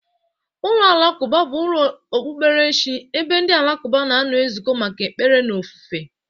Ụlọ alakụba bụ ụlọ okpukperechi ebe ndị alakụba na-ezukọ maka ekpere na ofufe.